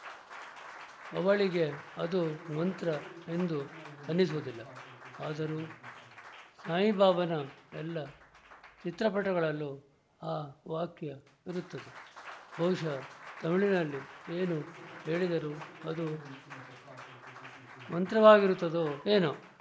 ಅವಳಿಗೆ ಅದು ಮಂತ್ರ ಎಂದು ಅನ್ನಿಸುವುದಿಲ್ಲ ಆದರೂ ಸಾಯಿಬಾಬಾನ ಎಲ್ಲ ಚಿತ್ರಪಟಗಳಲ್ಲೂ ಆ ವಾಕ್ಯ ಇರುತ್ತದೆ ಬಹುಶಃ ತಮಿಳಿನಲ್ಲಿ ಏನು ಹೇಳಿದರೂ ಅದು ಮಂತ್ರವಾಗಿರುತ್ತದೋ ಏನೋ